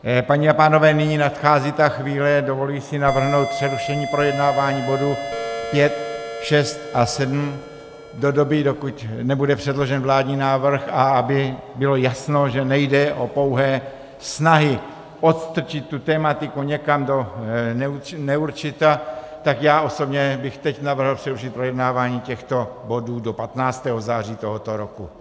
Paní a pánové, nyní nadchází ta chvíle, dovoluji si navrhnout přerušení projednávání bodů 5, 6 a 7 do doby, dokud nebude předložen vládní návrh, a aby bylo jasno, že nejde o pouhé snahy odstrčit tu tematiku někam do neurčita, tak já osobně bych teď navrhl přerušit projednávání těchto bodů do 15. září tohoto roku.